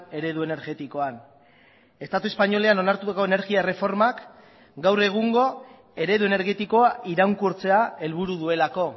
eredu energetikoan estatu espainolean onartutako energia erreformak gaur egungo eredu energetikoa iraunkortzea helburu duelako